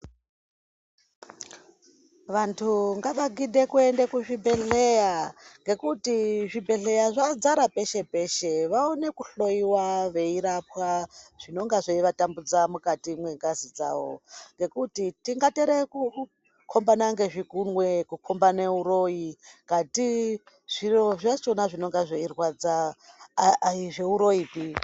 Vantu ngavagidhe kuenda kuzvibhendleya ngekuti zvibhedhleya zvadzara peshe peshe vaone kuhloiwa veirapwa zvinonga zveivatambudza mukati mwengazi dzavo. Ngekuti tingapera kukhombana ngezvikumwe, kukhombana uroyi kati zviro zvakhona zvinonga zveirwadza aizviuroyipi.